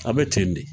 A bɛ ten de